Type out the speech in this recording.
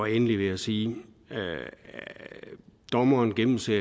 endelig vil jeg sige at dommeren jo gennemser